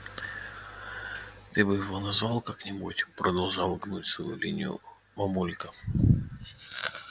ты бы его назвал как-нибудь продолжала гнуть свою линию мамулька